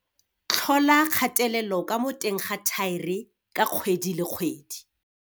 Tlhola kgatelelo ka mo teng ga thaere ka kgwedi le kgwedi.